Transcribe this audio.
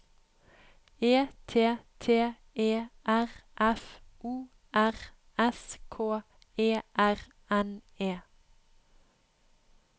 E T T E R F O R S K E R N E